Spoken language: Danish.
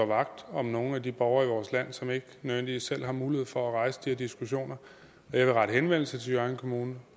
vagt om nogle af de borgere i vores land som ikke nødvendigvis selv har mulighed for at rejse de her diskussioner jeg vil rette henvendelse til hjørring kommune